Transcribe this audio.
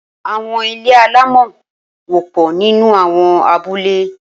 Awọn ilé àlámọ̀ wọ̀pọ̀ ninú awọn àbúlé